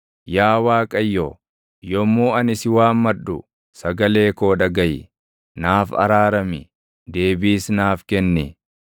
Yaa Waaqayyo, yommuu ani si waammadhu, sagalee koo dhagaʼi; naaf araarami; deebiis naaf kenni.